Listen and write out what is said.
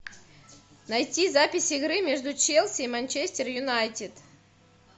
найти запись игры между челси и манчестер юнайтед